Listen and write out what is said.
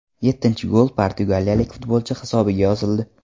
Yettinchi gol portugaliyalik futbolchi hisobiga yozildi.